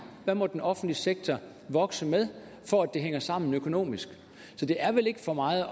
hvad må den offentlige sektor vokse med for at det hænger sammen økonomisk så det er vel ikke for meget